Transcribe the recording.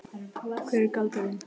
Hver er galdurinn?